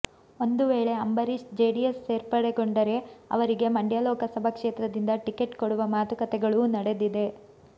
ಒಂದು ವೇಳೆ ಅಂಬರೀಷ್ ಜೆಡಿಎಸ್ ಸೇರ್ಪಡೆಗೊಂಡರೆ ಅವರಿಗೆ ಮಂಡ್ಯ ಲೋಕಸಭಾ ಕ್ಷೇತ್ರದಿಂದ ಟಿಕೆಟ್ ಕೊಡುವ ಮಾತುಕತೆಗಳೂ ನಡೆದಿವೆ